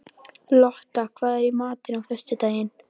Lotta, hvað er í matinn á föstudaginn?